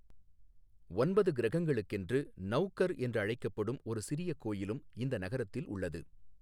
ஒன்பது கிரகங்களுக்கென்று நௌகர் என்று அழைக்கப்படும் ஒரு சிறிய கோயிலும் இந்த நகரத்தில் உள்ளது.